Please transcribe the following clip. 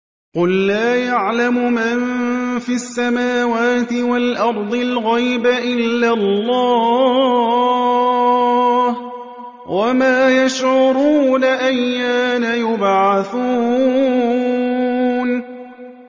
قُل لَّا يَعْلَمُ مَن فِي السَّمَاوَاتِ وَالْأَرْضِ الْغَيْبَ إِلَّا اللَّهُ ۚ وَمَا يَشْعُرُونَ أَيَّانَ يُبْعَثُونَ